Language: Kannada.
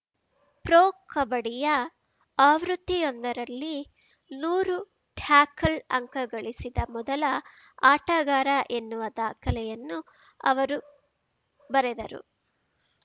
ಪ್ರೊ ಕಬಡ್ಡಿಯ ಆವೃತ್ತಿಯೊಂದರಲ್ಲಿ ನೂರು ಟ್ಯಾಕಲ್‌ ಅಂಕ ಗಳಿಸಿದ ಮೊದಲ ಆಟಗಾರ ಎನ್ನುವ ದಾಖಲೆಯನ್ನು ಅವರು ಬರೆದರು